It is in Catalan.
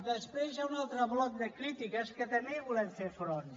després hi ha un altre bloc de crítiques que també hi volem fer front